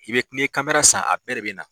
I bɛ k' ni ye kamera san a bɛɛ de bɛ na.